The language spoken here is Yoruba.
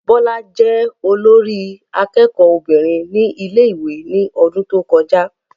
Bọ́lá jẹ́ olórí akẹ́kọ̀ọ́ obìnrin ní ilé ìwé ní ọdún tó kọjá